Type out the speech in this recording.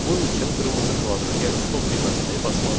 Bunun üçün qırmızı kvadrat, yəni stop düyməsini basmalıyıq.